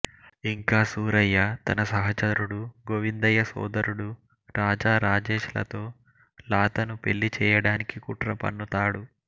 ఇంకా సూరయ్య తన సహచరుడు గోవిందయ్య సోదరుడు రాజా రాజేష్ తో లాతను పెళ్ళి చెయ్యడానికి కుట్ర పన్నుతాడు